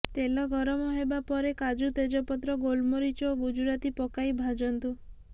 ତେଲ ଗରମ ହେବା ପରେ କାଜୁ ତେଜପତ୍ର ଗୋଲମରିଚ ଓ ଗୁଜୁରାତି ପକାଇ ଭାଜନ୍ତୁ